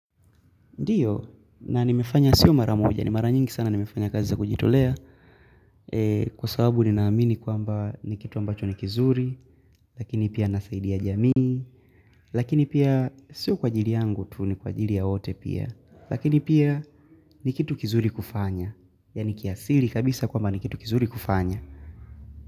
Ndiyo, na nimefanya siyo mara moja ni mara nyingi sana nimefanya kazi za kujitolea kwa sababu ninaamini kwamba ni kitu ambacho ni kizuri. Lakini pia nasaidia jamii lakini pia sio kwa ajili yangu tu ni kwa ajili ya wote pia lakini pia ni kitu kizuri kufanya yaani kiasili kabisa kwamba ni kitu kizuri kufanya.